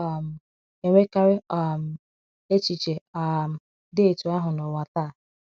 A na - um enwekarị um echiche um dị etu ahụ n’ụwa taa.